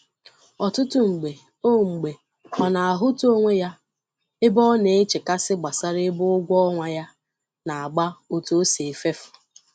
Ọtụtụ mgbe ọ mgbe ọ na-ahụta onwe ya ebe ọ na-echekasị gbasara ebe ụgwọ ọnwa ya na-agba, otu o sị efefu.